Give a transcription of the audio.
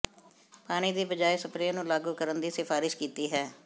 ਪਾਣੀ ਦੀ ਬਜਾਇ ਸਪਰੇਅ ਨੂੰ ਲਾਗੂ ਕਰਨ ਦੀ ਸਿਫਾਰਸ਼ ਕੀਤੀ ਹੈ